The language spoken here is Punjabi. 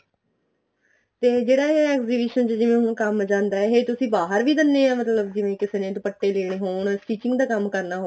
ਤੇ ਜਿਹੜਾ ਇਹ exhibition ਚ ਜਿਵੇਂ ਹੁਣ ਕੰਮ ਜਾਂਦਾ ਏ ਇਹ ਤੁਸੀਂ ਬਾਹਰ ਵੀ ਦਿੰਦੇ ਹੋ ਮਤਲਬ ਜਿਵੇਂ ਕਿਸੇ ਦੁਪੱਟੇ ਦੇਣੇ ਹੋਣ stitching ਦਾ ਕੰਮ ਕਰਨਾ